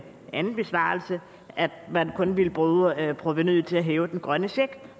anden besvarelse at man kun ville bruge provenuet til at hæve den grønne check